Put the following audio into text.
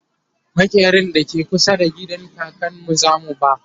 maƙerin da ke kusa da gidan kakanmu zamu ba